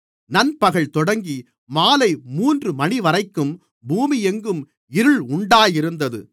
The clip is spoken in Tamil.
நண்பகல் தொடங்கி மாலை மூன்று மணிவரைக்கும் பூமியெங்கும் இருள் உண்டாயிருந்தது